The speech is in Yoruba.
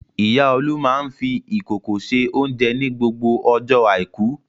Ìyá Olú máa ń fi ìkòkò se oúnjẹ ní gbogbo ọjọ́ àìkú.